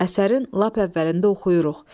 Əsərin lap əvvəlində oxuyuruq.